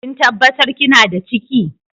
Kin tabatar kina da ciki?